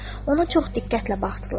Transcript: Ona çox diqqətlə baxdılar.